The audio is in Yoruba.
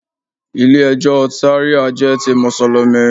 Ilé ẹjọ́ Ṣàríà jẹ́ ti Mùsùlùmí.